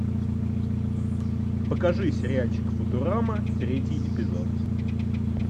покажи сериальчик футурама третий эпизод